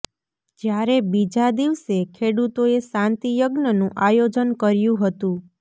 જ્યારે બીજા દિવસે ખેડૂતોએ શાંતિ યજ્ઞનું આયોજન કર્યું હતું